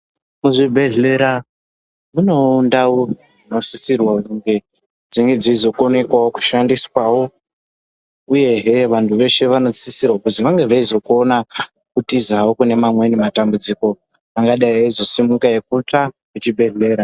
Muzvibhehlera munewo ndau dzinosisirwa kunge dzinee dzeizokonekwawo kushandiswawo. Uyehe vantu veshe vanosisirwa kuzi vange veizokona kutizawo kune mwanweni matambudziko angadai eizosimuka ekutsva kuchibhehlera.